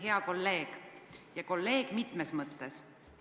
Hea kolleeg ja kolleeg mitmes mõttes!